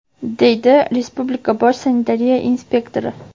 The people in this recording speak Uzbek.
deydi respublika bosh sanitariya inspektori.